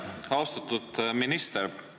Austatud minister!